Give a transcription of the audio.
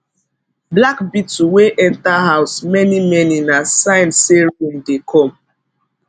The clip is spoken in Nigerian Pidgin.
black beetle wey enter house manymany na sign say rain dey come